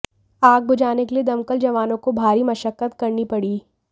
आग बुझाने के लिए दमकल जवानों को भारी मशक्कत करनी पड़ी